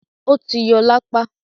ó ti yọ lápá.